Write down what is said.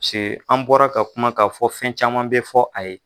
Se an bɔra ka kuma kaa fɔ fɛn caman be fɔ a ye